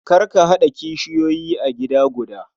Kar ka haɗa kishiyoyi a gida guda.